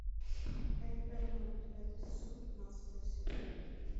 эй арнольд девятый сезон пятнадцатая серия